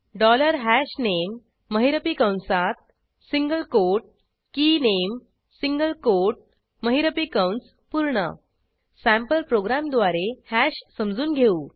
dollar हशनामे महिरपी कंसातsingle कोट केनामे सिंगल कोट महिरपी कंस पूर्ण सँपल प्रोग्रॅमद्वारे हॅश समजून घेऊ